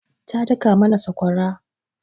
Ta daka mana sakwara.